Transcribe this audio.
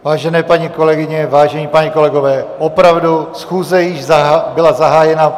Vážené paní kolegyně, vážení páni kolegové, opravdu, schůze již byla zahájena.